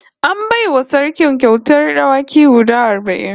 An bai wa Sarki kyautar dawaki guda arba'in